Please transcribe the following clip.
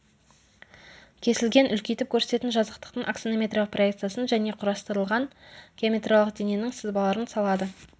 кесілген үлкейтіп көрсететін жазықтықтың аксонометриялық проекциясын және құрастырылған геометриялық дененің сызбаларын салады